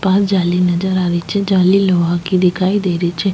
पास जाली नजर आ री छे जाली लोहा की दिखाई दे री छे।